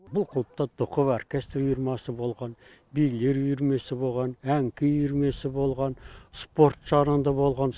бұл клубта токоб оркестр үйірмесі болған билер үйірмесі болған ән күй үйірмесі болған спорт жағынан да болған